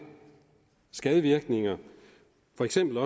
skadevirkninger for eksempel